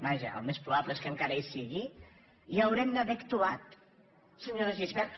vaja el més probable és que encara hi sigui ja haurem d’haver actuat senyora gispert